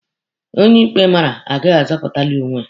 Onye ikpe mara agaghị azọpụtalị onwe ya.